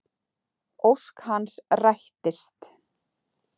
Ósk hans rættist.